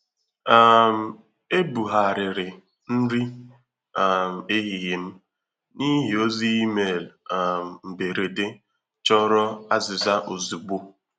um Ebugharịrị nri um ehihie m n’ihi ozi email um mberede chọrọ azịza ozugbo